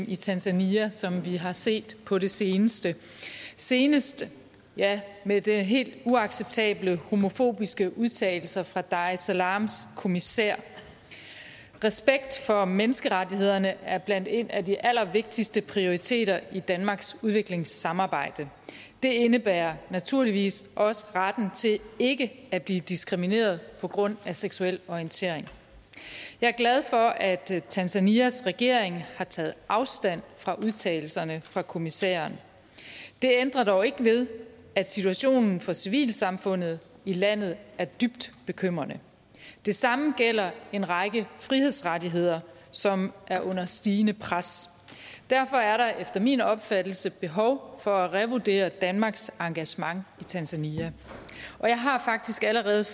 i tanzania som vi har set på det seneste senest med de helt uacceptable homofobiske udtalelser fra dar es salaams kommissær respekt for menneskerettighederne er blandt en af de allervigtigste prioriteter i danmarks udviklingssamarbejde det indebærer naturligvis også retten til ikke at blive diskrimineret på grund af seksuel orientering jeg er glad for at tanzanias regering har taget afstand fra udtalelserne fra kommissæren det ændrer dog ikke ved at situationen for civilsamfundet i landet er dybt bekymrende det samme gælder en række frihedsrettigheder som er under stigende pres derfor er der efter min opfattelse behov for at revurdere danmarks engagement i tanzania og jeg har faktisk allerede